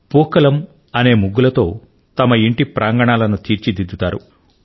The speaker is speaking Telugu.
పూక్కలం అనే ముగ్గులతో తమ ఇంటి ప్రాంగణాలను తీర్చిదిద్దుతారు